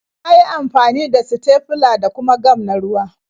Ya yi amfani da sitefila da kuma gam na ruwa.